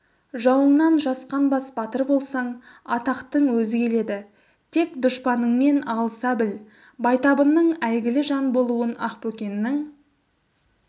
жауыңнан жасқанбас батыр болсаң атақтың өзі келеді тек дұшпаныңмен алыса біл байтабынның әйгілі жан болуын ақбөкеннің